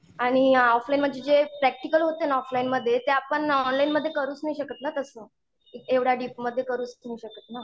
आणि ऑफलाईन म्हणजे जे प्रॅक्टिकल होते ना ऑफलाईनमध्ये ते आपण ऑनलाईन मध्ये करूच नाही शकत ना तसं, एवढ्या डीपमध्ये करूच नाही शकत ना.